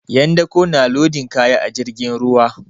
'Yan dako na lodin kaya a jirgin ruwa.